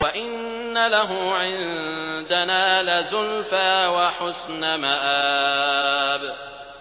وَإِنَّ لَهُ عِندَنَا لَزُلْفَىٰ وَحُسْنَ مَآبٍ